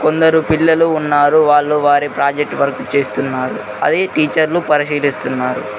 అందరు పిల్లలు ఉన్నారు వాళ్లు వారి ప్రాజెక్టు వర్క్ చేస్తున్నారు అది టీచర్లు పరిశీలిస్తున్నారు.